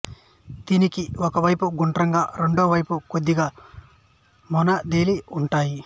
వీనికి ఒక వైపు గుండ్రంగా రెండవ వైపు కొద్దిగా మొనదేలి ఉంటాయి